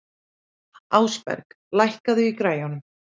Ásberg, lækkaðu í græjunum.